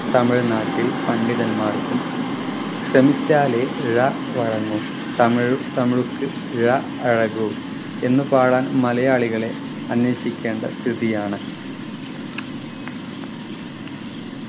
തമിഴ്നാട്ടിൽ പണ്ഡിതന്മാർക്കും ശ്രമിച്ചാലെ ഴ വഴങ്ങു തമിഴ് തമിഴ് ക്ക് ഴ അഴകു എന്ന് പാടാൻ മലയാളികളെ അന്വേഷിക്കേണ്ട സ്ഥിതിയാണ്